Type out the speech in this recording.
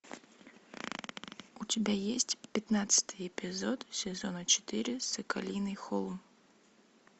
у тебя есть пятнадцатый эпизод сезона четыре соколиный холм